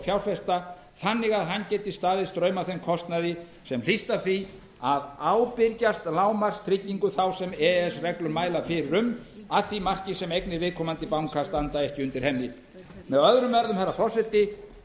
fjárfesta þannig að hann geti staðið straum af þeim kostnaði sem hlýst af því að ábyrgjast lágmarkstryggingu þá sem e e s reglur mæla fyrir um að því marki sem eignir viðkomandi banka standa ekki undir henni með öðrum orðum frú